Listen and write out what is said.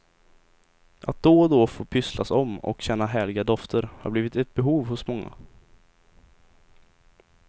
Att då och då få pysslas om och känna härliga dofter har blivit ett behov hos många.